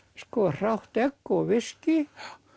hrátt egg og viskí